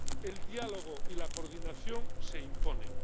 El diálogo y la coordinación se imponen.